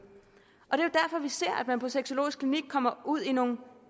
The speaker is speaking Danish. er vi ser at man på sexologisk klinik kommer ud i nogle